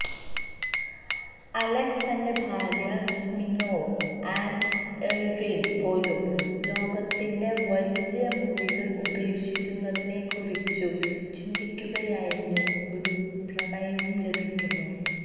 Alex തന്റെ ഭാര്യ Smirnova and Irina പോലും ലോകത്തിന്റെ വലിയ മുറികൾ ഉപേക്ഷിക്കുന്നതിനെക്കുറിച്ചു ചിന്തിക്കുകയായിരുന്നു ഒരു പ്രണയവും ലഭിക്കുന്നു